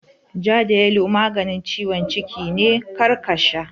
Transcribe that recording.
Ja da yalo maganin ciwon ciki ne, kar ka sha!